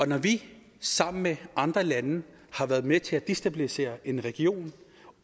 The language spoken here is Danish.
når vi sammen med andre lande har været med til at destabilisere en region